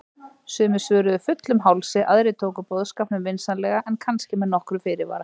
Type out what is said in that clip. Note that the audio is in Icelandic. Sumir svöruðu fullum hálsi, aðrir tóku boðskapnum vinsamlega en kannski með nokkrum fyrirvara.